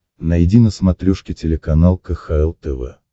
найди на смотрешке телеканал кхл тв